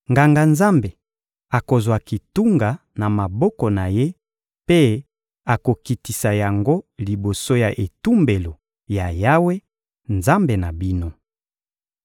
Nganga-Nzambe akozwa kitunga na maboko na ye mpe akokitisa yango liboso ya etumbelo ya Yawe, Nzambe na bino.